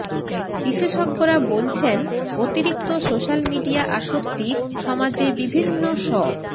বিশেষজ্ঞরা বলছেন অতিরিক্ত সোশ্যাল মিডিয়া আসক্তি সমাজে বিভিন্ন স